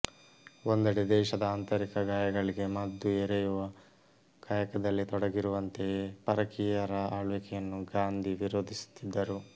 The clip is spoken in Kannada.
ಒಂದೆಡೆ ದೇಶದ ಆಂತರಿಕ ಗಾಯಗಳಿಗೆ ಮದ್ದು ಎರೆಯುವ ಕಾಯಕದಲ್ಲಿ ತೊಡಗಿರುವಂತೆಯೇ ಪರಕೀಯರ ಆಳ್ವಿಕೆಯನ್ನು ಗಾಂಧಿ ವಿರೋಧಿಸುತ್ತಿದ್ದರು